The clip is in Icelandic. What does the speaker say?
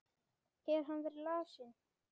Hefur hann verið lasinn?